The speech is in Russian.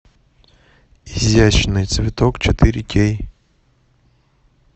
изящный цветок четыре кей